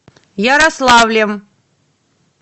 ярославлем